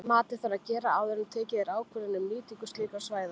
Matið þarf að gera áður en tekin er ákvörðun um nýtingu slíkra svæða.